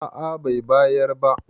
a a Bai bayar ba